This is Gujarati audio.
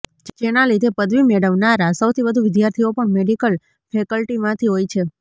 જેના લીધે પદવી મેળવનારા સૌથી વધુ વિદ્યાર્થીઓ પણ મેડિકલ ફેકલ્ટીમાંથી હોય છે